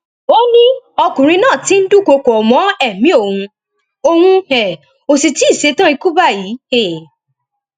ó ní ọkùnrin náà ti ń dúnkookò mọ ẹmí òun òun um ó sì tì í ṣẹtàn ikú báyìí um